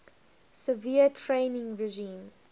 severe training regime